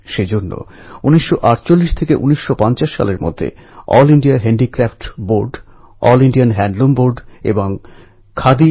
জ্ঞানেশ্বর নামদেব একনাথ রামদাস তুকারাম এরকম অসংখ্য সন্ন্যাসী মহারাষ্ট্রে আজও সাধারণ মানুষকে শিক্ষা প্রদান করছেন